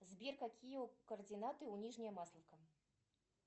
сбер какие координаты у нижняя масловка